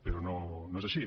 però no és així